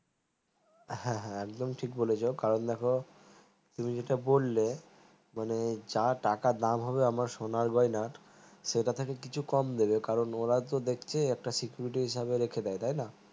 হ্যাঁ হ্যাঁ একদম ঠিক বলেছো কারণ দেখ তুমি যেটা বললে মানে যা টাকা দাম হবে সোনায় গয়না সেথা থেকে কিছু কম দিবে কারণ ওরা তো দেখছে একটা security হিসাবে রেখে দায় তাই না